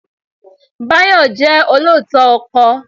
Báyọ̀ jẹ́ olóòótọ́ ọkọ.